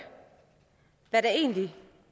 hvad der egentlig